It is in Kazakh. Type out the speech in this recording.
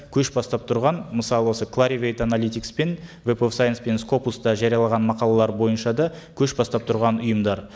көш бастап тұрған мысалы осы кларивейт аналитикс пен веб оф сайнс пен скопуста жариялаған мақалалар бойынша да көш бастап тұрған ұйымдар